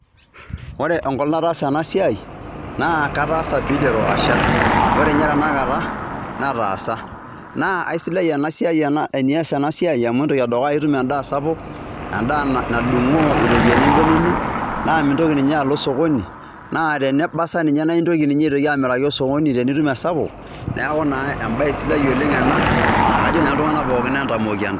Ore enkolong' nataasa ena siai naa kataasa piiteru asha. Ore nye tenakata nataasa naa aisidai ena siai enias ena siai amu entoki edukuya etum endaa sapuk, endaa nadung'oo iropiani embene ino naa mintoki ninye alo cs] sokoni, naa tenebasa naa intoki ninye amirika sokoni tenitum esapuk, neeku naa embae sidai oleng' ena naa ajoki iltung'anak pookin entamoki entaas.